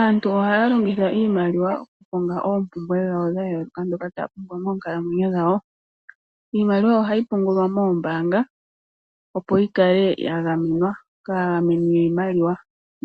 Aantu ohaya longitha iimaliwa oku konga oompumbwe dhawo dhayoloka dhoka taya pumbwa moonkalamwenyo dhawo. Iimaliwa ohayi pungulwa moombanga opo yi kale ya gamenwa kaagameni,